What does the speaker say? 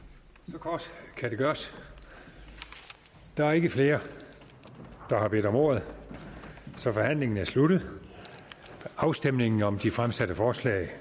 kort kan det gøres der er ikke flere der har bedt om ordet så forhandlingen er sluttet afstemningen om de fremsatte forslag